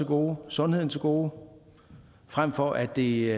og sundheden til gode frem for at det